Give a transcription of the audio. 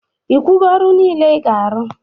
Ikwugo ọrụ nile ị ga-arụ?